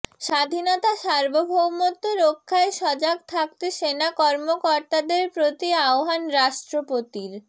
স্বাধীনতা সার্বভৌমত্ব রক্ষায় সজাগ থাকতে সেনা কর্মকর্তাদের প্রতি আহ্বান রাষ্ট্রপতির